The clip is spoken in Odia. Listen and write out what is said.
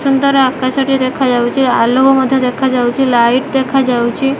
ସୁନ୍ଦର ଆକାଶଟିଏ ଦେଖାଯାଉଚି ଆଲୋକ ମଧ୍ୟ ଦେଖାଯାଉଚି ଲାଇଟ୍ ଦେଖାଯାଉଚି ।